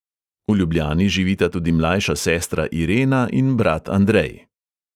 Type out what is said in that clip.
V ljubljani živita tudi mlajša sestra irena in brat andrej.